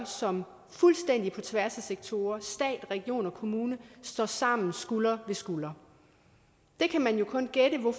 som fuldstændig på tværs af sektorer stat region og kommune står sammen skulder ved skulder det kan man jo kun gætte på